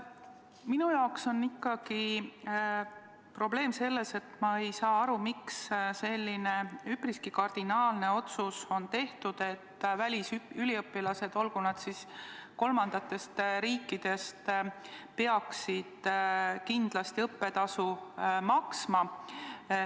Minu jaoks on ikkagi probleem selles, et ma ei saa aru, miks on tehtud selline üpriski kardinaalne otsus, et välisüliõpilased – olgu nad pealegi kolmandatest riikidest – peaksid kindlasti maksma õppetasu.